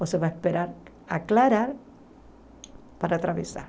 Você vai esperar aclarar para atravessar.